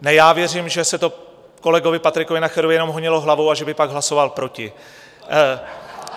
Ne, já věřím, že se to kolegovi Patriku Nacherovi jenom honilo hlavou a že by pak hlasoval proti.